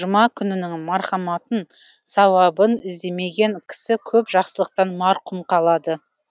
жұма күнінің мархаматын сауабын іздемеген кісі көп жақсылықтан мақрұм қалады